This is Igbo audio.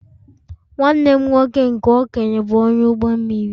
Nwanne m nwoke nke okenye bụ onye ụgbọ mmiri